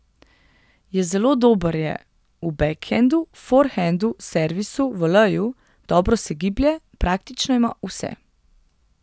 Je zelo dober je v bekhendu, forhendu, servisu, voleju, dobro se giblje, praktično ima vse.